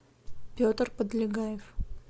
петр подлегаев